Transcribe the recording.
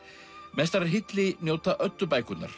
mestrar hylli njóta